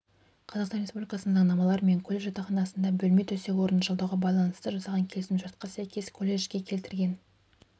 қазақстан республикасының заңнамалары мен колледж жатақханасында бөлме төсек-орынды жалдауға байланысты жасаған келісімшартқа сәйкес колледжге келтірген